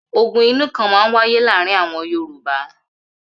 Ogun inú kan máa ń wáyé láàárin àwọn Yorùbá.